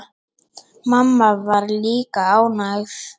Mamma var líka ánægð.